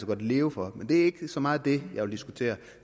godt leve for men det er ikke så meget det jeg vil diskutere